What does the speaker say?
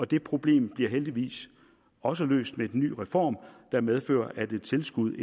det problem bliver heldigvis også løst med den nye reform der medfører at et tilskud